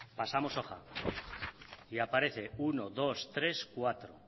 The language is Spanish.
pasamos hoja y aparece uno dos tres cuatro